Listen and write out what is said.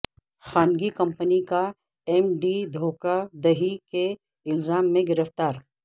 خانگی کمپنی کا M D دھوکہ دہی کے الزام میں گرفتار